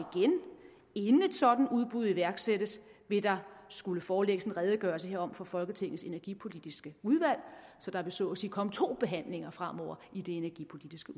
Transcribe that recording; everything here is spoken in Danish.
inden et sådant udbud iværksættes vil der skulle forelægges en redegørelse herom for folketingets energipolitiske udvalg så der vil så at sige komme to behandlinger fremover i det energipolitiske